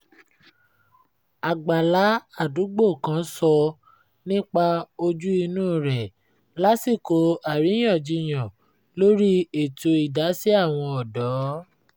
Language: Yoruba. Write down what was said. àgbàlá àdúgbò kan sọ nípa ojú - inú rẹ̀ lásìkò àríyànjiyàn lórí ètò idasi àwọn ọ̀dọ́